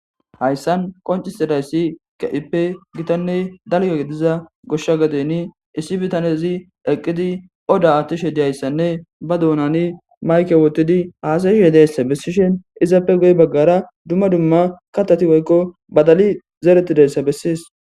Hayssan qoncisidayssi ke,ippe gitanne dalga gediza goshsha gadeni issi bitanezi eqqidi oda attishe diyayssanne ba duunani mayke wotidi haasayu yedeyssa bessishen izappe goy baggara dumma dumma katati woykko badali zeeretidayssa bessies.